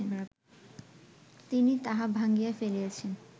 তিনি তাহা ভাঙ্গিয়া ফেলিয়াছেন